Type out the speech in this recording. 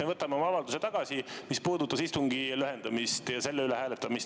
Me võtame tagasi oma avalduse, mis puudutas istungi lühendamist ja selle ettepaneku hääletamist.